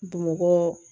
Bamakɔ